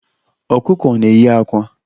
Ọkụkọ na-eyi àkwá